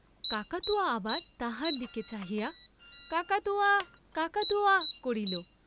কাকাতুয়া আবার তাহার দিকে চাহিয়া, কাকাতুয়া কাকাতুয়া করিল।